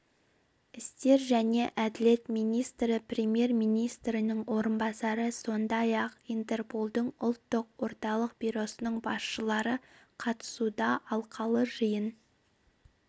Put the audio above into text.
істер және әділет министрі премьер-министрдің орынбасары сондай-ақ интерполдың ұлттық орталық бюросының басшылары қатысуда алқалы жиын